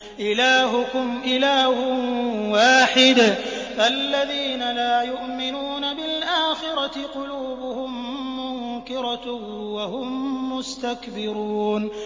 إِلَٰهُكُمْ إِلَٰهٌ وَاحِدٌ ۚ فَالَّذِينَ لَا يُؤْمِنُونَ بِالْآخِرَةِ قُلُوبُهُم مُّنكِرَةٌ وَهُم مُّسْتَكْبِرُونَ